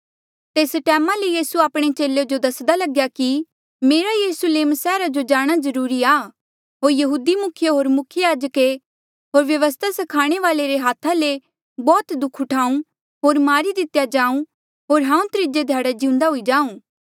तेस टैमा ले यीसू आपणे चेले जो दस्दा लग्या कि मेरा यरुस्लेम सैहरा जो जाणा जरूरी आ होर यहूदी मुखिये होर मुख्य याजक होर व्यवस्था स्खाणे वाल्ऐ रे हाथा ले बौह्त दुःख उठाऊँ होर मारी दितेया जाऊं होर हांऊँ त्रीजे ध्याड़े जिउंदा हुई जाऊँ